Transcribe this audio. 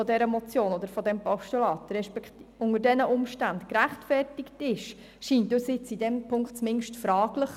Ob die Abschreibung dieser Motion oder dieses Postulats unter diesen Umständen gerechtfertigt ist, scheint uns in diesem Punkt jetzt zumindest fraglich.